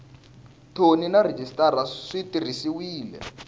thoni na rhejisitara swi tirhisiwile